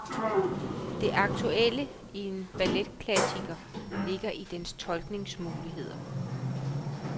Det aktuelle i en balletklassiker ligger i dens tolkningsmuligheder.